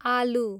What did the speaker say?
आलु